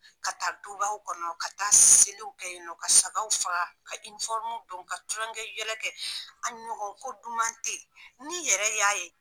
Ka taa dubaw kɔnɔ , ka taa seliw kɛ yen nɔ ka sagaw faga ka don ka tulon kɛ yɛlɛ kɛ a ɲɔgɔn ko duman te yen, ni yɛrɛ y'a ye